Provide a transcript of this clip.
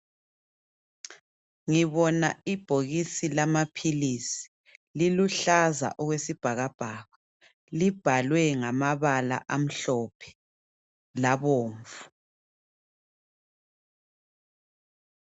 Ngibona ibhokisi lamaphilisi ,liluhlaza okwesibhakabhaka libhalwe ngamabala amhlophe labomvu.